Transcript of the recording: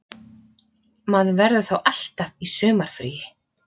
Maður verður þá alltaf í sumarfríi